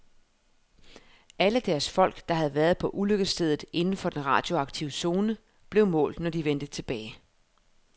Alle deres folk, der havde været på ulykkesstedet inden for den radioaktive zone, blev målt, når de vendte tilbage.